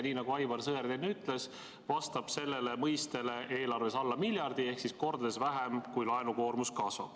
Nii nagu Aivar Sõerd enne ütles, vastab sellele mõistele eelarves alla miljardi ehk mitu korda vähem, kui laenukoormus kasvab.